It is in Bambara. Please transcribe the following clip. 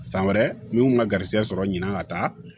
San wɛrɛ minnu ka garijɛgɛ sɔrɔ ɲina ka taa